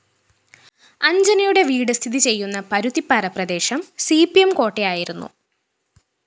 അഞ്ജനയുടെ വീട് സ്ഥിതിചെയ്യുന്ന പരുത്തിപ്പാറ പ്രദേശം സി പി എം കോട്ടയായിരുന്നു